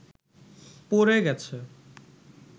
প’ড়ে গেছে